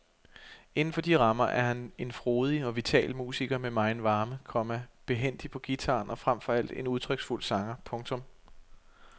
Inden for de rammer er han en frodig og vital musiker med megen varme, komma behændig på guitaren og frem for alt en udtryksfuld sanger. punktum